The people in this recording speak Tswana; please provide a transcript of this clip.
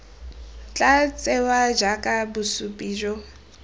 tla tsewa jaaka bosupi jo